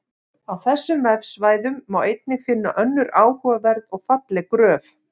Á þessum vefsvæðum má einnig finna önnur áhugaverð og falleg gröf.